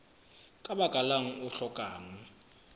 ka baka lang o hlokang